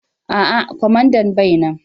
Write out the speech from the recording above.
A'a, kwamandan bai nan.